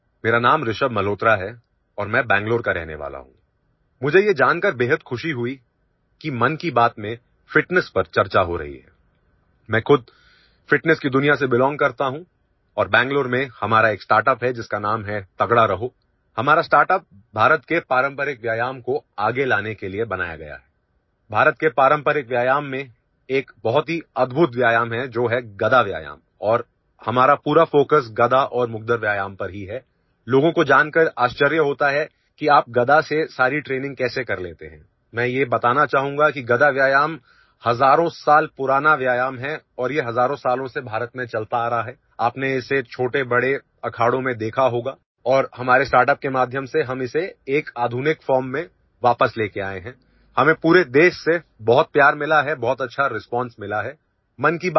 नमस्कार मेरा नाम ऋषभ मल्होत्रा है और मैं बेंगलुरु का रहनेवाला हूं मुझे यह जानकर बेहद खुशी हई कि मन की बात में ફિટનેસ पर चर्चा हो रही है मैं खुद ફિટનેસ की दुनिया से બેલોંગ करता हूं और बेंगलुरु में हमारा एक સ્ટાર્ટઅપ है जिस का नाम है तगडा रहो हमारा સ્ટાર્ટઅપ भारत के पारंपारिक व्यायाम को आगे लाने के लिए बनाया गया है भारत के पारंपरिक व्यायाम में एक बहुत ही अद्भुत व्यायाम है जो है गदा व्यायाम और हमारा पूरा ફોકસ गदा और मुग्दर व्यायाम पर ही है लोगों को जानकर आश्चर्य होता है कि आप गदा से सारी ટ્રેનિંગ कैसे कर लेते है मैं यह बताना चाहूंगा कि गदा व्यायाम हजारों साल पुराना व्यायाम है और ये हजारों सालों से भारत में चलता आ रहा है आपने इसे छोटे बडे अखाडों में देखा होगा और हमारे સ્ટાર્ટઅપ के माध्यम से हम इसे एक आधुनिक ફોર્મ में वापस लेकर आए है हमें पूरे देश से बहुत प्यार मिला है बहुत अच्छा રિસ્પોન્સ मिला है